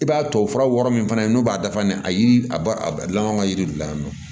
I b'a tubabu fura wɔɔrɔ min fana ye n'o b'a dafa ne a ba a laban ka yiri de la yan nɔ